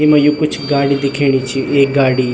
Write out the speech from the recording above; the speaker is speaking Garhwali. येमा यु कुछ गाड़ी दिखेणी छ एक गाड़ी --